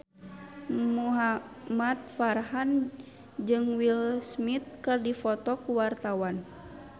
Muhamad Farhan jeung Will Smith keur dipoto ku wartawan